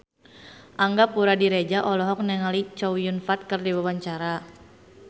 Angga Puradiredja olohok ningali Chow Yun Fat keur diwawancara